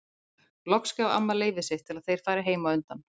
Loks gaf amma leyfi sitt til að þeir færu heim á undan.